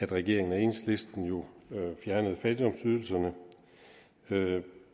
regeringen og enhedslisten jo fjernede fattigdomsydelserne